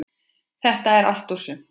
Þetta er allt og sumt